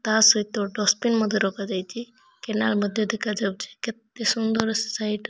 ତା ସହିତ ଡଷ୍ଟବିନ୍ ମଧ୍ୟ ରଖାଯାଇଛି। କେନାଲ ମଧ୍ୟ ଦେଖାଯାଉଛି। କେତେ ସୁନ୍ଦର ସାଇଟ୍ ।